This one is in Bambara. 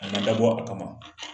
A ma dabɔ a kama